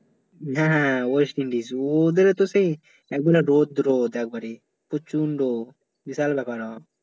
হ্যাঁ West Indies ওদেরি তো সেই একবেলা রোদ রোদ একবারে প্রচণ্ড বিশাল ব্যাপার